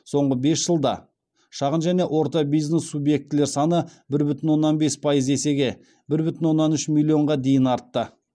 соңғы бес жылда шағын және орта бизнес субъектілер саны бір бүтін оннан бес пайыз есеге бір бүтін оннан үш миллионға дейін артты